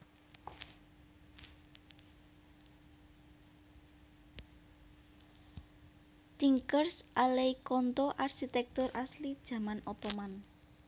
Tinkers Alley Conto arsitèktur asli jaman Ottoman